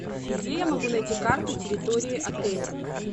где я могу найти карту территории отеля